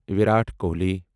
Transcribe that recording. Virat Kohli